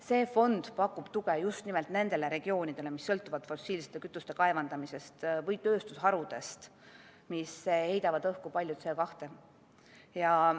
See fond pakub tuge just nimelt nendele regioonidele, mis sõltuvad fossiilsete kütuste kaevandamisest või tööstusharudest, mis heidavad õhku palju CO2.